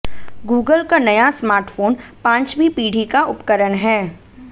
Google का नया smartphone पांचवीं पीढ़ी का उपकरण है